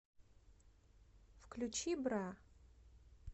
включи бра